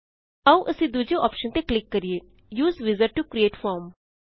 ਆਓ ਅਸੀਂ ਦੂਜੇ ਔਪਸ਼ਨ ਤੇ ਕਲਿਕ ਕਰਿਏ use wizard to create form